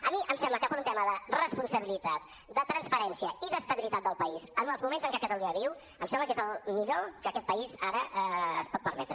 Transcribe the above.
a mi em sembla que per un tema de responsabilitat de transparència i d’estabilitat del país en els moments en què catalunya viu em sembla que és el millor que aquest país ara es pot permetre